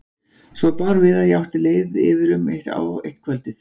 Svo bar við að ég átti leið yfirum á eitt kvöldið.